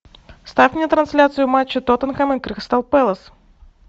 ставь мне трансляцию матча тоттенхэма и кристал пэлас